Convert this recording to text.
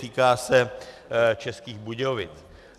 Týká se Českých Budějovic.